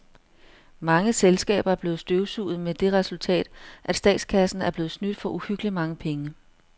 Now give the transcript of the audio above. Mange selskaber er blevet støvsuget med det resultat, at statskassen er blevet snydt for uhyggeligt mange penge.